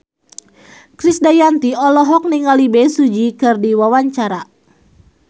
Krisdayanti olohok ningali Bae Su Ji keur diwawancara